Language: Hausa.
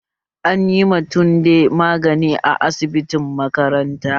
Anyi ma tunde magani a asibitin makaranta